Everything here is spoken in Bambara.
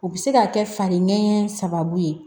U bɛ se ka kɛ fari nɛgɛn sababu ye